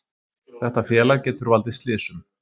Þetta félag getur valdið slysum,